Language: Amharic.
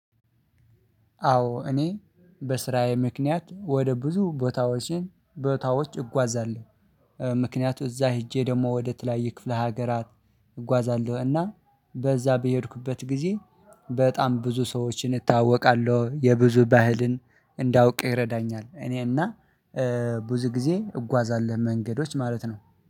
አዎ እኔ በስራዬ ምክንያት ወደ ብዙ ቦታዎችን ቦታዎች እጓዛለሁ። ምክንያቱም እዛ ሄጄ ደግሞ ወደ ተለያየ ክፍለ ሀገራት እጓዛለሁ። እና በዛ በሄድኩበት ጊዜ በጣም ብዙ ሰዎችን እተዋወቃለሁ የብዙ ባህልን እንዳውቅ ይረዳኛል። እኔና ብዙ ጊዜ እጓዛለሁ መንገዶች ማለት ነው